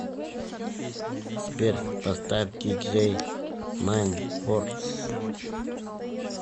сбер поставь диджей майндфорс